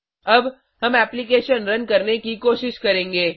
अब हम application run करने की कोशिश करेंगे